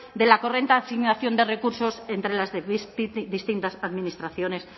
de la correcta asignación de recursos entre las distintas administraciones